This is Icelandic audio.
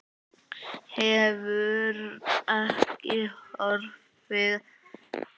Hefur ekki horfið.